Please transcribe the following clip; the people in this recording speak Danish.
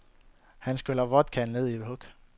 Han skyller vodkaen ned i et hug.